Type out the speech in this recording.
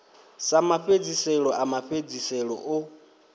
sa mafhedziselo a mafhedziselo o